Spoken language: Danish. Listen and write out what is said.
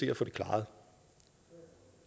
at få det klaret